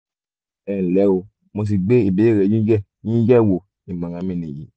ẹnlẹ́ o mo ti gbé ìbéèrè yín yẹ̀ yín yẹ̀ wò ìmọ̀ràn mi nìyí